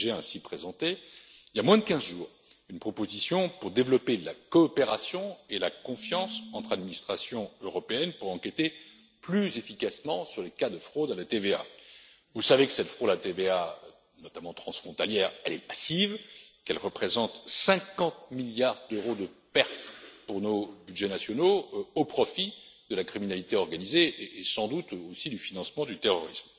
J'ai ainsi présenté, il y a moins de 15 jours, une proposition pour développer la coopération et la confiance entre administrations européennes pour enquêter plus efficacement sur les cas de fraude à la TVA. Vous savez que cette fraude à la TVA, notamment transfrontalière, est passive et qu'elle représente 50 milliards d'euros de pertes pour nos budgets nationaux au profit de la criminalité organisée et sans doute aussi du financement du terrorisme.